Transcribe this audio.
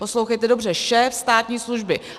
Poslouchejte dobře - šéf státní služby.